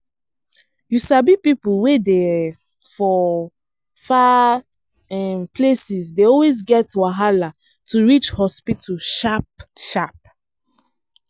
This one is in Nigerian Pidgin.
you sabi people wey dey um for far um places dey always get wahala to reach hospital sharp-sharp.